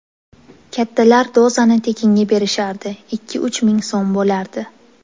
Kattalar dozani tekinga berishardi, ikki-uch ming so‘m bo‘lardi.